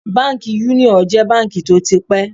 Báńkì Yúníọ̀ jẹ́ báńkì tó ti pẹ́.